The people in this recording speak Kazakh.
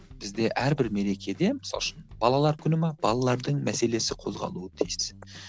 бізде әрбір мерекеде мысалы үшін балалар күні ме балалардың мәселесі қозғалуы тиіс